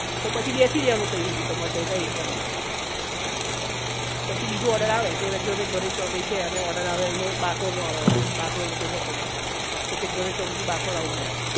તો પછી બેસી જવાનું તમારે તઇ તમારા area માં પછી બીજો order આવે કે અવે જો ઘરે ચોકડી છે અને order આવે અહીં નો બાકરોલ નો આવે order બાકરોલ નો કોઈ ચોકડી નો પછી એક ગણેશ ચોકડી થી બાકરોલ આવાનું